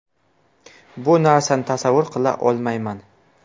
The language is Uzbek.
Bu narsani tasavvur qila olmayman.